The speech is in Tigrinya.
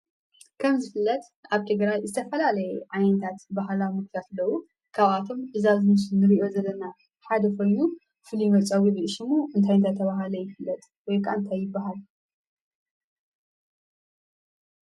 ከም ዝፍለጥ ኣብ ትግራይ ዝተፈላለየ ዓይነታት ባህላዊ ምግብታት ኣለው። ካብኣቶም እዙይ ኣብ ምስሊ እንርእዮ ዘለና ሓደ ኮይኑ ፍሉይ መፀውዕኡ ሹም እንታይ እናተባህለ ይፍለጥ? ወይ ከዓ እንታይ ይብሃል?